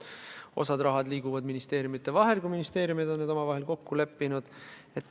Osa raha liigub ministeeriumide vahel, kui ministeeriumid on selles omavahel kokku leppinud.